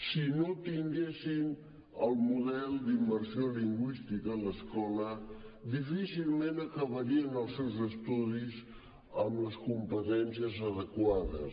si no tinguessin el model d’immersió lingüística a l’escola difícilment acabarien els seus estudis amb les competències adequades